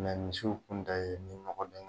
misiw kun ta ye ni nɔgɔ